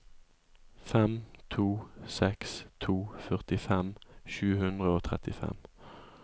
fem to seks to førtifem sju hundre og trettifem